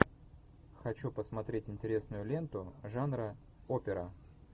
хочу посмотреть интересную ленту жанра опера